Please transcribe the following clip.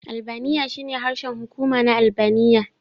Albaniya shine harshen hukuma na Albaniya.